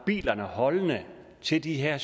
bilerne holdende til de her